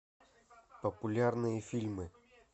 популярные фильмы